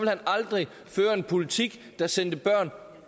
han aldrig føre en politik der sendte børn